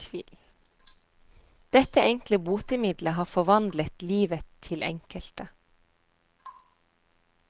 Dette enkle botemiddelet har forvandlet livet til enkelte.